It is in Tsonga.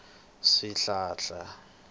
swihlahla